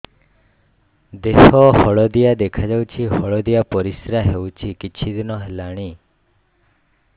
ଦେହ ହଳଦିଆ ଦେଖାଯାଉଛି ହଳଦିଆ ପରିଶ୍ରା ହେଉଛି କିଛିଦିନ ହେଲାଣି